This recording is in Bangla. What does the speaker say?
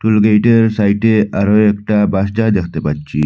গেটের সাইডে আরো একটা বাসটা দেখতে পাচ্ছি।